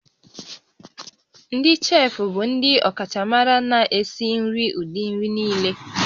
Ndị cheefụ bụ ndị ọkachamara na-esi nri ụdị nri niile